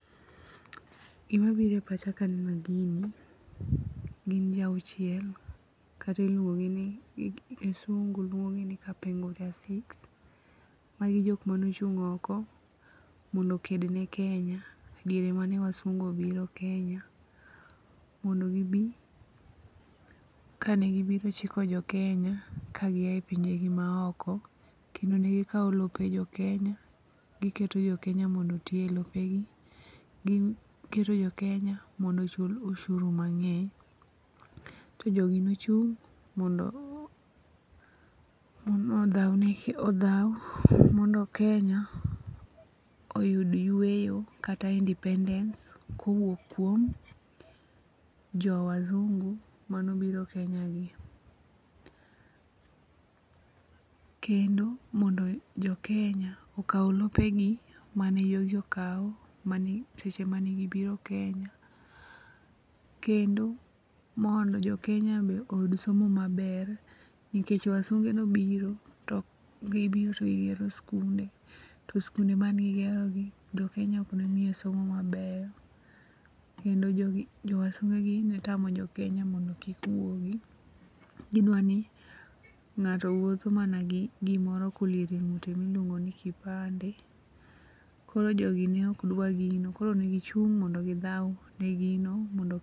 Gimabiro e pachakae ka aneno, gini gin ji awuchiel kata iluongo' ni kisungu luongo' gi ni kapenguria six, magi jok mane ochung' oko mondo okedne Kenya, diere mane wasungu obiro Kenya mondo gi bi, kanegibiro chilo jo Kenya kagiae pinjegi ma oko kendo negi kawo lope jo Kenya, giketo jo Kenya mondo otie e lopegi, giketo jo Kenya mondo mi ochul oshuru mange'ny to jogi nochung' mondo othau mondo Kenya, oyud yweyo kata independence ko wuok kuom jowazungu manobiro Kenya gi kendo mondo jo Kenya okau lopegi mane jojo kau seche manegibiro Kenya, Kendo mondo jo Kenya be oyud somo maber nikech wasunge obiro to giboro to gigero skunde to skunde maneni gigerogi jo Kenya ok ne niye somo maber, kendo jogi jowasungegi ne tamo jo Kenya mondo kik wuogi, gidwani nga'to wutho mana gi gimoro ma oliero e ngu'te ma iluongi ni kipande koro jogi ne okdwa gino koro negichung' mondo githau ne gino mondo